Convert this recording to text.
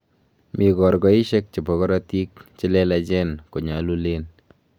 mi korgoishek che bo korotik che lelachen ko nyalulen